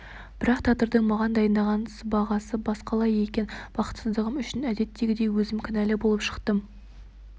бірақ тағдырдың маған дайындаған сыбағасы басқалай екен бақытсыздығым үшін әдеттегідей өзім кінәлі болып шықтым